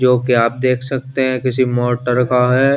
जो के आप देख सकते है किसी मोटर का है।